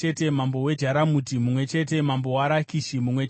mambo weJarumuti mumwe chete mambo weRakishi mumwe chete